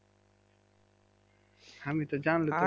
আমি তো জানলে